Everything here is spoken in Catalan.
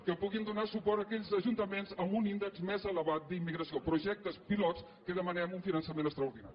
que puguin donar suport a aquells ajuntaments amb un índex més elevat d’immigració projectes pilots en què demanem un finançament extraordinari